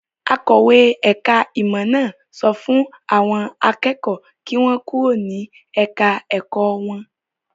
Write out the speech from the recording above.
Akọ̀wé ẹ̀ka-ìmọ̀ náà sọ fún àwọn kẹ́kọ̀ọ́ kí wọ́n kúrò ní ẹ̀ka-ẹ̀kọ́ wọn.